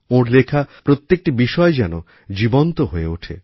ওঁর লেখা প্রত্যেকটি বিষয় যেন জীবন্ত হয়ে ওঠে